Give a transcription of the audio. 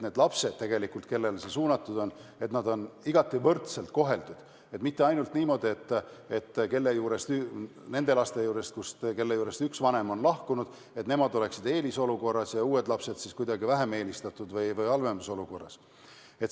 Kõik lapsed peavad olema igati võrdselt koheldud, mitte niimoodi, et need lapsed, kelle juurest üks vanem on lahkunud, on eelisolukorras ja uued lapsed kuidagi halvemas olukorras.